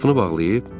Qapını bağlayıb?